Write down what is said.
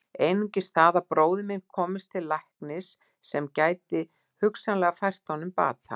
Einungis það að bróðir minn komist til læknis sem gæti hugsanlega fært honum bata.